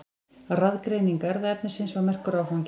Raðgreining erfðaefnisins var merkur áfangi.